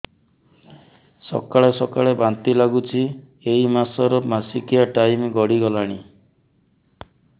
ସକାଳେ ସକାଳେ ବାନ୍ତି ଲାଗୁଚି ଏଇ ମାସ ର ମାସିକିଆ ଟାଇମ ଗଡ଼ି ଗଲାଣି